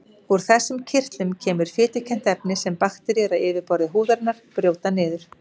Úr þessum kirtlum kemur fitukennt efni sem bakteríur á yfirborði húðarinnar brjóta niður.